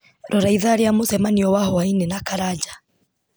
rora ithaa rĩa mũcemanio wa hwaĩ-inĩ na karanja